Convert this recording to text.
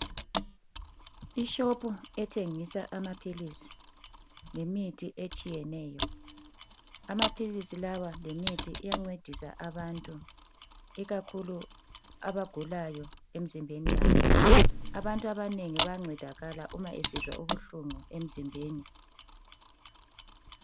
Ishopu ethengisa amaphilisi lemithi etshiyeneyo amaphilisi lawa lemithi iyancedisa abantu ikakhulu abagulayo emzimbeni yabo abantu abanengi bayancedakala uba esizwa ubuhlungu emzimbeni.